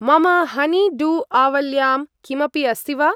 मम हनी-डु॒-आवल्यां किमपि अस्ति वा?